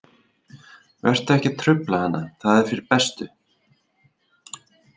Vertu ekkert að trufla hana, það er fyrir bestu.